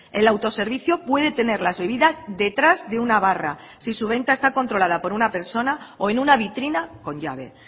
el autoservicio puede tener las bebidas detrás de una barra si su venta está controlada por una persona o en una vitrina con llave